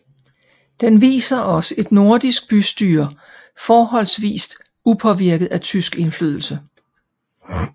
Den viser os et nordisk bystyre forholdsvist upåvirket af tysk indflydelse